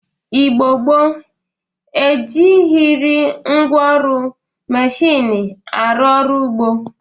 Igbo gboo e jighiri ngwa ọrụ mmechini na-arụ ọrụ ugbo